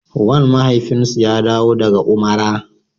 Wan mafaifinsu ya dawo daga Umara.